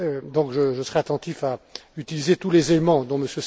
Donc, je serai attentif à utiliser tous les éléments dont M.